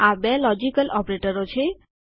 આ બે લોજિકલ ઓપરેટરો છે